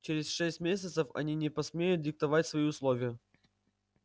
через шесть месяцев они не посмеют диктовать свои условия